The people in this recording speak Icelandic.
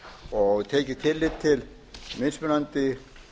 og tekið tillit til mismunandi